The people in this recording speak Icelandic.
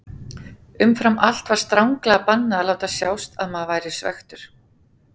Umfram allt var stranglega bannað að láta sjást að maður væri svekktur.